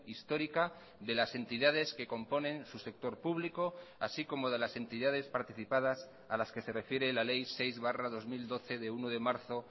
histórica de las entidades que componen su sector público así como de las entidades participadas a las que se refiere la ley seis barra dos mil doce de uno de marzo